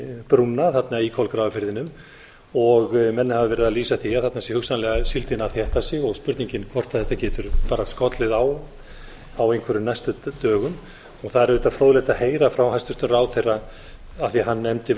brúna þarna í kolgrafafirðinum menn hafa verið að lýsa því að þarna sé hugsanlega síldin að þétta sig og spurningin hvort þetta getur bara skollið á á einhverjum næstu dögum það er auðvitað fróðlegt að heyra frá hæstvirtum ráðherra af því hann nefndi